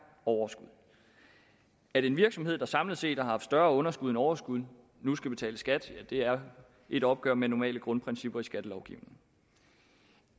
overskud at en virksomhed der samlet set har haft større underskud end overskud nu skal betale skat er et opgør med normale grundprincipper i skattelovgivningen